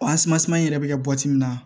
yɛrɛ bɛ kɛ min na